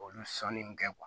Olu sɔnni min kɛ